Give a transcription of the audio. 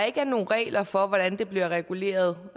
ikke er nogen regler for hvordan det bliver reguleret